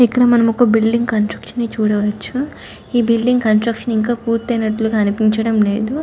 ఇక్కడ మనం ఒక బిల్డింగ్ కన్స్ట్రక్షన్ ని చూడవచ్చు. ఈ బిల్డింగ్ కన్స్ట్రక్షన్ ఇంకా పూర్తయినట్లు అనిపించడం లేదు.